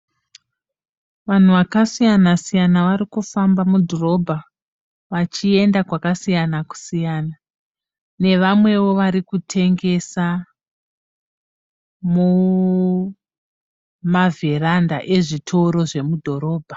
Vanhu vakasiyana -siyana vari kufamba mudhorobha vachienda kwakasiyana -siyana nevamwewo vari kutengesa mumavheranda ezvitoro zvemudhorobha.